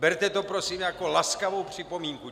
Berte to prosím jako laskavou připomínku.